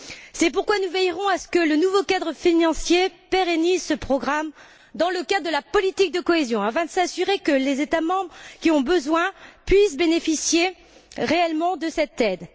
C'est pourquoi nous veillerons à ce que le nouveau cadre financier pérennise ce programme dans le cadre de la politique de cohésion afin de s'assurer que les États membres qui en ont besoin puissent bénéficier réellement de cette aide.